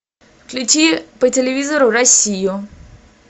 включи по телевизору россию